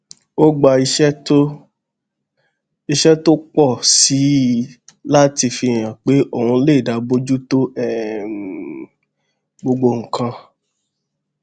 ó gba iṣé tó iṣé tó pò sí i láti fihàn pé òun lè dá bójú tó um gbogbo nǹkan